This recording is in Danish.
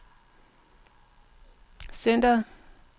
centreret